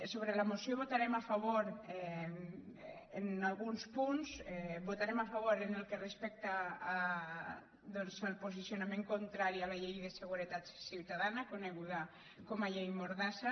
sobre la moció votarem a favor d’alguns punts vo·tarem a favor en el que respecta doncs al posicio·nament contrari a la llei de seguretat ciutadana co·neguda com a llei mordassa